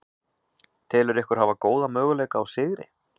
Telurðu ykkur hafa góða möguleika á sigri?